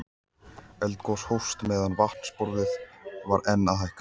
Eldgos hófst meðan vatnsborðið var enn að hækka.